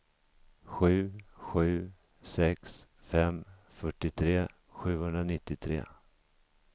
sju sju sex fem fyrtiotre sjuhundranittiotre